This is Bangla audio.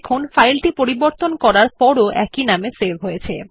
সুতরাং ফাইলটি পরিবর্তন করার পরও একই নামে সেভ হয়